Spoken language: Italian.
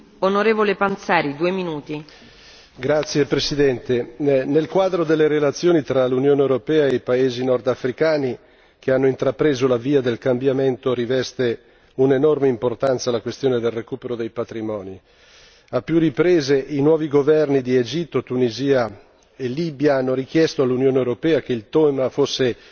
Signora Presidente, onorevoli colleghi, nel quadro delle relazioni tra l'Unione europea e i paesi nordafricani che hanno intrapreso la via del cambiamento, riveste un'enorme importanza la questione del recupero dei patrimoni. A più riprese i nuovi governi di Egitto, Tunisia e Libia hanno richiesto all'Unione europea che il tema fosse